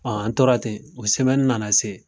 an tora ten o nana se.